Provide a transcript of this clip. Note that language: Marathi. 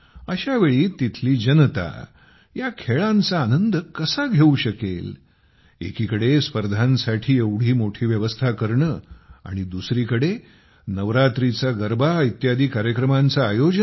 अशा वेळी तेथील जनता या खेळांचा आनंद कसा घेऊ शकेल एकीकडे स्पर्धांसाठी एवढी मोठी व्यवस्था करणे आणि दुसरीकडे नवरात्रीचा गरबा इत्यादी कार्यक्रमांचे आयोजन